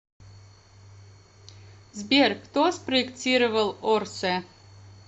сбер кто спроектировал орсэ